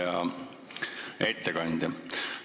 Hea ettekandja!